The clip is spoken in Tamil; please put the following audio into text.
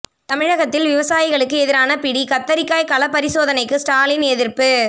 தமிழகத்தில் விவசாயிகளுக்கு எதிரான பிடி கத்தரிக்காய் களப் பரிசோதனைக்கு ஸ்டாலின் எதிர்ப்பு